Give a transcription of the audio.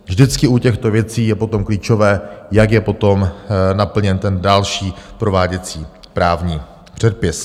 Vždycky u těchto věcí je potom klíčové, jak je potom naplněn ten další prováděcí právní předpis.